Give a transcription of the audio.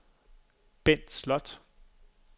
Bent Slot